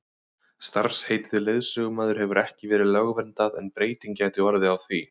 starfsheitið leiðsögumaður hefur ekki verið lögverndað en breyting gæti orðið á því